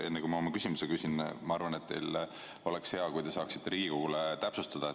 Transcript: Enne kui ma küsin, ütlen, et minu arvates oleks hea, kui te saaksite Riigikogule täpsustada.